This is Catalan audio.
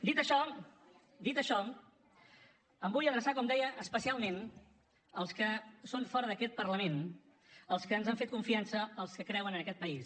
dit això dit això em vull adreçar com deia especialment als que són fora d’aquest parlament als que ens han fet confiança als que creuen en aquest país